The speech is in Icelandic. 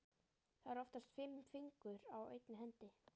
Það eru oftast fimm fingur á einni hendi.